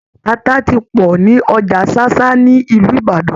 Ata ti pọ̀ ní Ọjà Ṣáṣá ní Ìlú Ìbàdàn.